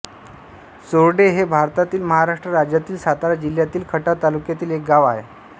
चोरडे हे भारतातील महाराष्ट्र राज्यातील सातारा जिल्ह्यातील खटाव तालुक्यातील एक गाव आहे